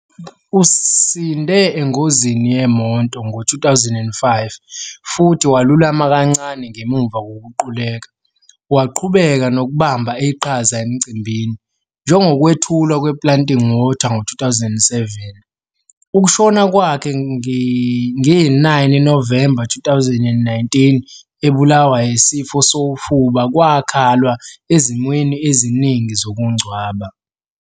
Usinde engozini yemoto ngo-2005 futhi walulama kancane ngemuva kokuquleka, waqhubeka nokubamba iqhaza emicimbini, njengokwethulwa "kwePlanting Water" ngo-2007. Ukushona kwakhe ngo-9 Novemba 2019 ebulawa yisifo sofuba kwakhalwa ezimweni eziningi zokungcwaba.